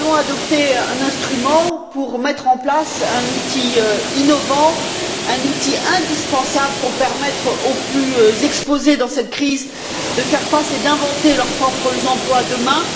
Nous allons adopter un instrument pour mettre en place un outil innovant, un outil indispensable, pour permettre aux plus exposés dans cette crise de faire face et d'inventer leurs propres emplois demain.